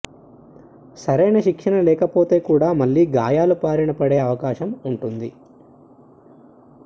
సరైన శిక్షణ లేకపోతే కూడా మళ్లీ గాయాల బారిన పడే అవకాశం ఉంటుంది